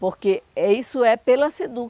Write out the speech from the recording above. Porque é isso é pela